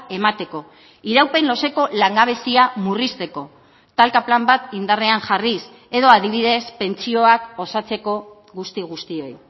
emateko iraupen luzeko langabezia murrizteko talka plan bat indarrean jarriz edo adibidez pentsioak osatzeko guzti guztioi